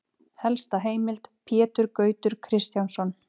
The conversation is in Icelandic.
Helsta heimild: Pétur Gautur Kristjánsson.